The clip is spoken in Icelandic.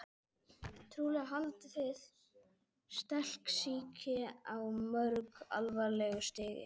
Trúlega haldinn stelsýki á mjög alvarlegu stigi.